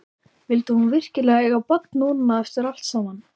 Vildi hún virkilega eiga barn núna, eftir allt saman?